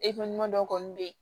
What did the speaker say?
dɔw kɔni bɛ yen